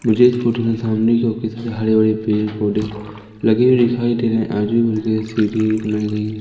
मुझे इस फोटो मे सामने जोकि सारे हरे भरे पेड़ पौधे लगे हुए दिखाई दे रहे है आजू सीढ़ी बनाई गई--